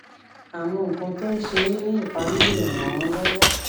àwọn nǹkan tó ń ṣe é ní ìparí lè ràn án lówó